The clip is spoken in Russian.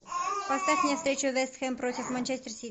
поставь мне встречу вест хэм против манчестер сити